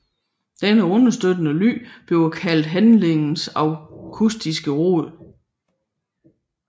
Denne understøttende lyd bliver kaldt handlingens akustiske rod